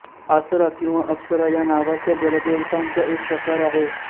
आसरा किंवा अप्सरा या नावाच्या जलदेवतांचा एक प्रकार आहे